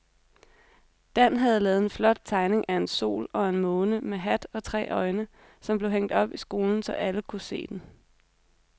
Dan havde lavet en flot tegning af en sol og en måne med hat og tre øjne, som blev hængt op i skolen, så alle kunne se den.